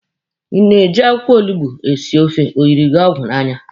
Ị na-eji akwụkwọ olugbo esi ofe, O yiri gi ọgwụ n'anya?